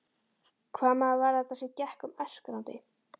Hvaða maður var þetta sem gekk um öskrandi?